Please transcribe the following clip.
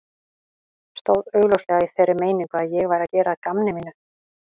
Stóð augljóslega í þeirri meiningu að ég væri að gera að gamni mínu.